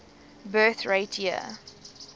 birth rate year